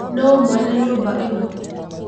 Nũ mwene nyũmba ĩno?